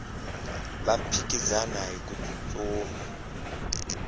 va phikizana hiku tsutsuma